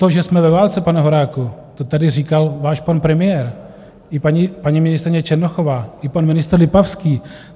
To, že jsme ve válce, pane Horáku, to tady říkal váš pan premiér, i paní ministryně Černochová, i pan ministr Lipavský.